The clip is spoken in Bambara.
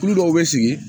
Tulu dɔw bɛ sigi